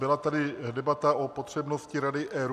Byla tady debata o potřebnosti rady ERÚ.